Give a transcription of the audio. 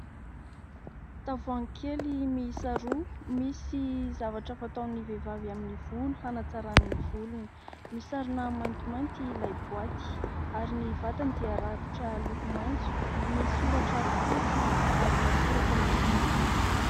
Tavoahangy kely miisa roa, misy zavatra fataon'ny vehivavy amin'ny volo hanantsarany ny volony. Misarona maintimainty ilay boaty ary ny vatany dia rakotra loko maitso. Misoratra fotsy, ary misy soratra miloko mainty ihany koa.